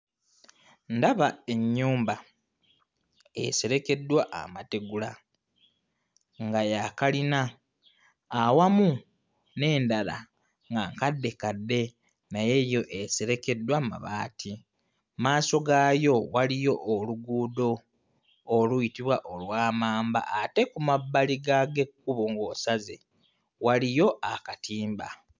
Ndaba ennyumba eserekeddwa amategula nga ya kkalina awamu n'endala nga nkaddekadde naye yo eserekeddwa mabaati. Mmaaso gaayo waliyo oluguudo oluyitibwa olwa mamba, ate ku mabbali ga g'ekkubo ng'osaze waliyo akatimba.